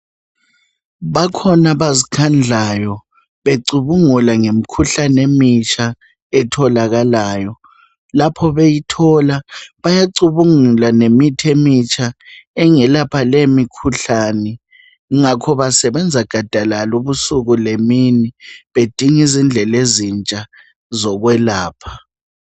Bakhona abazikhandlayo becubungula ngemikhuhlane emitsha etholakalayo. Lapho beyithola bayacubungula ngemithi emitsha engelapha le imikhuhlane. Kungakho basebenza gadalala ubusuku lemini bedinga izindlela ezintsha zokwelapha.